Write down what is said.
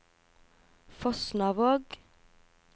Fosnavåg